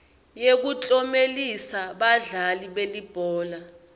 yekuklomelisa badlali belibhola